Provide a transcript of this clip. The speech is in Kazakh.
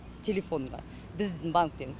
телефонға біздің банктен